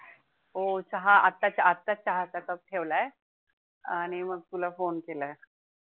हो चहा आता च्या आता चहाचा cup ठेवलाय. आणि मग तुला phone केलाय.